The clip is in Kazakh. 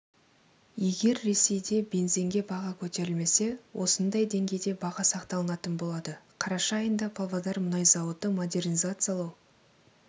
егер ресейде бензинге баға көтерілмесе осындай деңгейде баға сақталынатын болады қараша айында павлодар мұнай зауыты модернизациялау